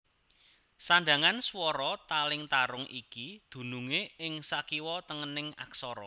Sandhangan swara taling tarung iki dunungé ing sakiwa tengening aksara